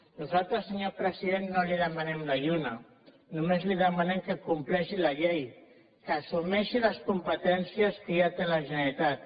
nosaltres senyor president no li demanem la lluna només li demanem que compleixi la llei que assumeixi les competències que ja té la generalitat